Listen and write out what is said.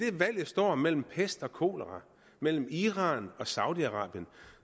valget står mellem pest og kolera mellem iran og saudi arabien